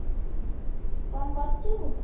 କଣ କରୁଚୁ